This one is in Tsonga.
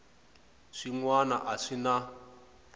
swin wana a swi na